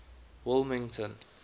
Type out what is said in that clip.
wilmington